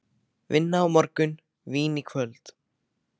Vinna á morgun, vín í kvöld.